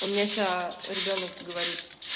у меня сейчас ребёнок говорит